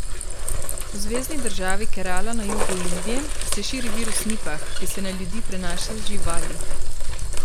V zvezni državi Kerala na jugu Indije se širi virus Nipah, ki se na ljudi prenaša z živali.